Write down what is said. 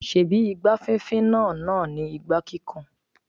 Ṣebí igbá fínfín náà náà ni igbá kíkùn?